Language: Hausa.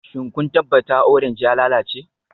Shin kun tabbata orange ya lalace?